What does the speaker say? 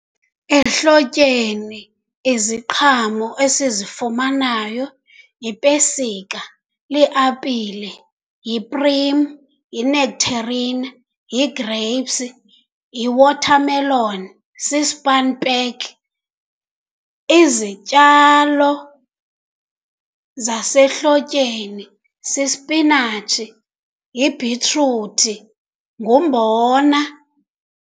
Ehlotyeni iziqhamo esizifumanayo yipesika, liapile, yiprim, yi-nectarine, yi-grapes, yi-watermelon, si-spanspek. Izityalo zasehlotyeni sisipinatshi, yibhitruthi, ngumbona.